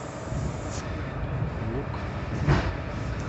лук